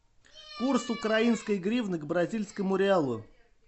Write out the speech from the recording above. курс украинской гривны к бразильскому реалу